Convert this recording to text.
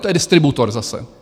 To je distributor zase.